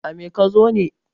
a me ka zo ne?